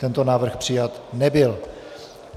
Tento návrh přijat nebyl.